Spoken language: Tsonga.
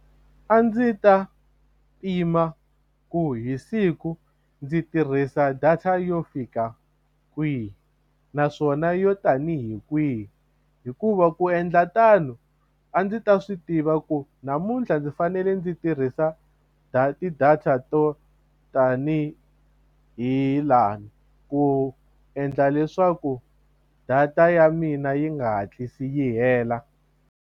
A ndzi ta pima ku hi siku ndzi tirhisa data yo fika kwihi naswona yo tanihi kwihi hikuva ku endla tano a ndzi ta swi tiva ku namuntlha ndzi fanele ndzi tirhisa ti-data to tanihi lani ku endla leswaku data ya mina yi nga hatlisi yi hela.